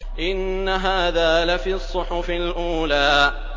إِنَّ هَٰذَا لَفِي الصُّحُفِ الْأُولَىٰ